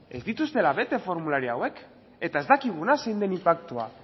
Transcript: ez dituztela bete formulario hauek eta ez dakigula zein den inpaktua